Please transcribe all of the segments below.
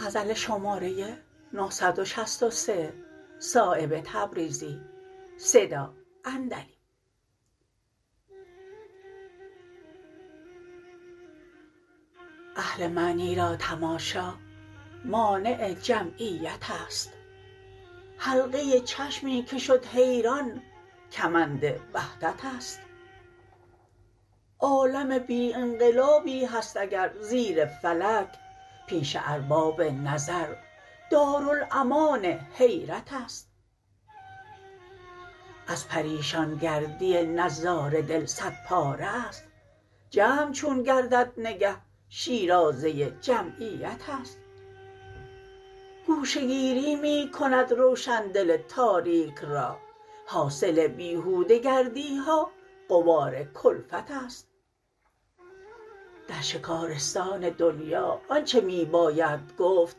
اهل معنی را تماشا مانع جمعیت است حلقه چشمی که شد حیران کمند وحدت است عالم بی انقلابی هست اگر زیر فلک پیش ارباب نظر دارالامان حیرت است از پریشان گردی نظاره دل صد پاره است جمع چون گردد نگه شیرازه جمعیت است گوشه گیری می کند روشن دل تاریک را حاصل بیهوده گردی ها غبار کلفت است در شکارستان دنیا آنچه می باید گفت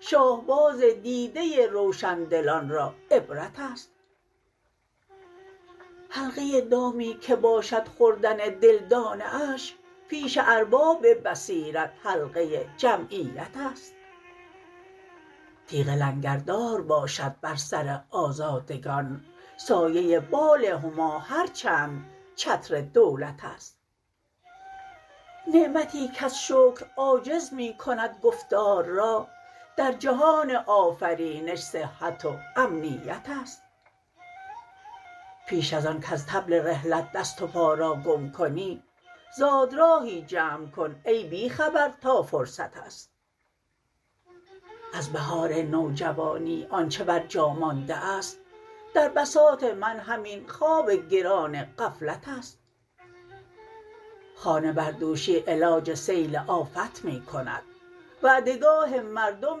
شاهباز دیده روشندلان را عبرت است حلقه دامی که باشد خوردن دل دانه اش پیش ارباب بصیرت حلقه جمعیت است تیغ لنگردار باشد بر سر آزادگان سایه بال هما هر چند چتر دولت است نعمتی کز شکر عاجز می کند گفتار را در جهان آفرینش صحت و امنیت است پیش ازان کز طبل رحلت دست و پا را گم کنی زاد راهی جمع کن ای بی خبر تا فرصت است از بهار نوجوانی آنچه بر جا مانده است در بساط من همین خواب گران غفلت است خانه بردوشی علاج سیل آفت می کند وعده گاه مردم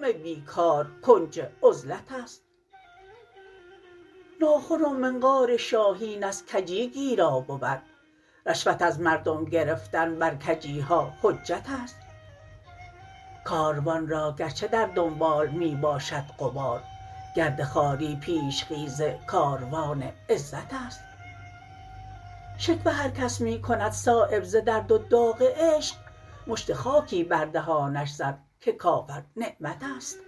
بیکار کنج عزلت است ناخن و منقار شاهین از کجی گیرا بود رشوت از مردم گرفتن بر کجی ها حجت است کاروان را گرچه در دنبال می باشد غبار گرد خواری پیش خیز کاروان عزت است شکوه هر کس می کند صایب ز درد و داغ عشق مشت خاکی بر دهانش زن که کافر نعمت است